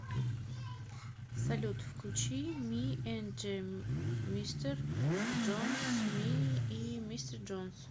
салют включи ми энд мистер джонс ми и мистер джонс